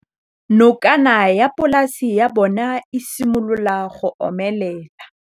Nokana ya polase ya bona, e simolola go omelela.